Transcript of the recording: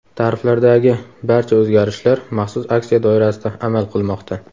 Tariflardagi barcha o‘zgarishlar maxsus aksiya doirasida amal qilmoqda.